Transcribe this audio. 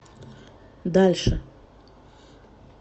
дальше